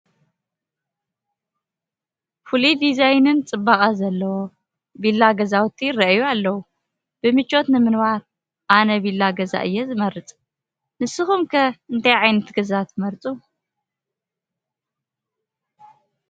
ፍሉይ ዲዛይንን ፅባቐን ዘለዎ፡ ቪላ ገዛውቲ ይርአዩ ኣለዉ፡፡ ብምቾት ንምንባር ኣነ ቪላ ገዛ እየ ዝመርፅ፡፡ ንስኹም ከ እንታይ ዓይነት ገዛ ትመርፁ?